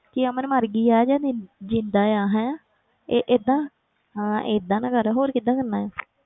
ਕਿ ਅਮਨ ਮਰ ਗਈ ਹੈ ਜਾਂ ਜਿ~ ਜ਼ਿੰਦਾ ਆ ਹੈਂ ਇਹ ਏਦਾਂ, ਹਾਂ ਏਦਾਂ ਤਾਂ ਕਰ ਹੋਰ ਕਿੱਦਾਂ ਕਰਨਾ ਹੈ